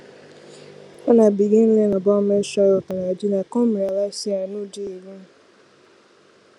when i begin learn about menstrual health and hygiene i come realize say i no dey alone